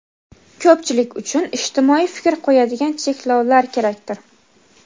ko‘pchilik uchun ijtimoiy fikr qo‘yadigan cheklovlar kerakdir.